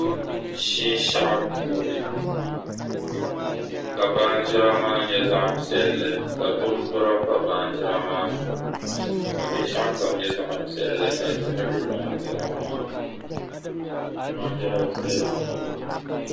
Shinshɛɣu puuni ka baanjira maa nyɛ zaɣ' piɛlli ka bimbira pa baanjira maa zuɣu ka binshɛɣu kam nyɛ zaɣ' piɛlli ka diɣi be baanjira maa puuni. Baanjir' viɛlli m-bala.